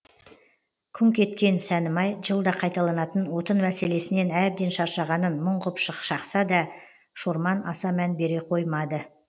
күңк еткен сәнімай жылда қайталанатын отын мәселесінен әбден шаршағанын мұң ғып шақса да шорман аса мән бере қоймады